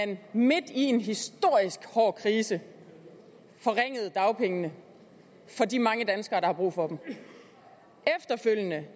man midt i en historisk stor krise forringede dagpengene for de mange danskere der har brug for dem efterfølgende